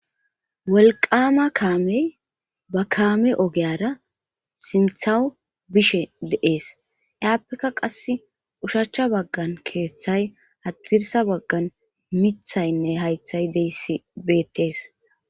wolqama kaamey ba kaame ogeyara simthawu bishe deees iaappekka qas ushachcha baggan keeththay hadirsa baggan mithaynne haythay deysi bettees